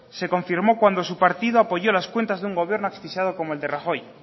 se confirmó cuando su partido apoyó las cuentas de un gobierno asfixiado como el de rajoy